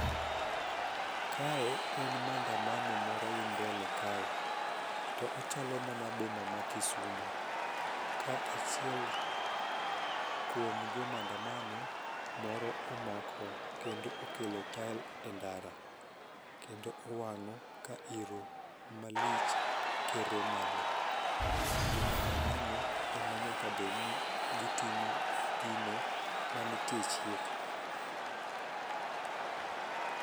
Kae en mandamano moro dhi mbele kae, to ochalo mana boma ma Kisumo ka achiel kuom jo mandamano moro omako kendo okelo tael e ndara kendo owang'o ka iro malich kere malo. Jo mandamano ema nyakabed ni gitimo gino manitie e chik.